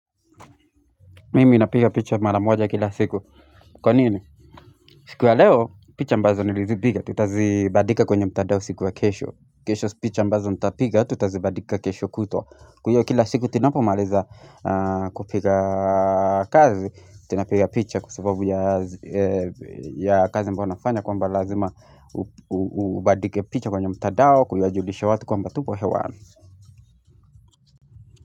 Mimi napiga picha mara moja kila siku. Kwa nini? Siku ya leo, picha mbazo nilizipiga. Tutazibadika kwenye mtandao siku ya kesho. Kesho picha ambazo nitapiga, tutazibadika kesho kutwa Kwa hiyo kila siku, tunapo maliza kupiga kazi. Tunapiga picha kwa sababu ya kazi ambayo nafanya. Kwamba lazima ubadike picha kwenye mtandao. Kwamba tupo hewa.